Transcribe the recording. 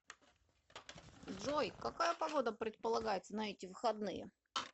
джой какая погода предполагается на эти выходные